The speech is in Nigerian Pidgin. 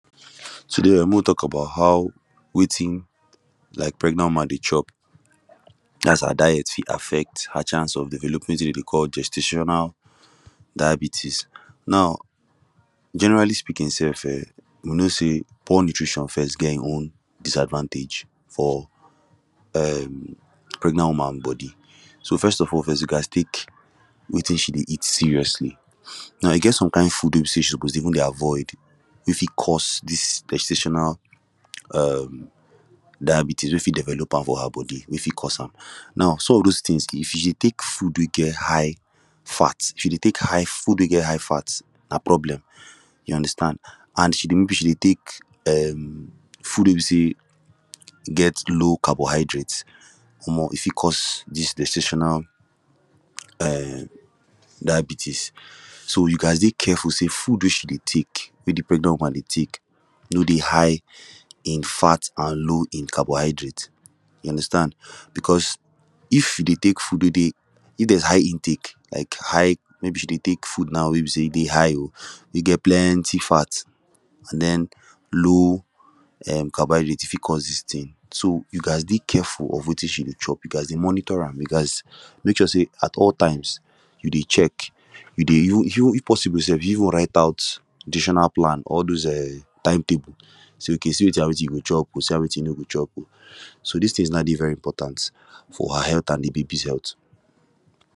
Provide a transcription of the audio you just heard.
Today um mek we tok about how wetin like pregnant woman dey chop dat’s her diet fit affect her chance of developing wetin we dey call gestational diabetes now generally speaking sef um we know say poor nutrition first get him own disadvantage for um pregnant woman body so first of all first we gast tek wetin she dey eat seriously now e get some kind food wey be say she suppose dey even dey avoid wey fit cause dis gestational um diabetes wey fit develop am for her body wey fit cause am now some of those tins if you dey tek food wey get high fat if you dey tek high food wey get high fat na problem you understand an she dey maybe she dey tek um food wey be say get low carbohydrates omo e fit cause dis gestational um diabetes so you gast dey careful say food wey she dey take wey de pregnant woman dey tek no dey high in fat and low in carbohydrates you understand becos if she dey tek food wey dey if there high intake like high maybe she dey tek food now wey be say e dey high o wey get plenty fat and then low um carbohydrates e fit cause dis tin so you gast dey careful of wetin she dey chop you gast dey monitor am you gast mek sure say at all times you dey check you dey you if possible sef you even write out nutritional plan all those um time table say okay see wetin and wetin you go chop oo see wetin and wetin you no go chop oo so dis tins now dey very important for her healt an de babies healt